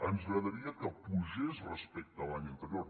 ens agradaria que pugés respecte a l’any anterior